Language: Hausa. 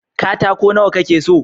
katako nawa ka ke so?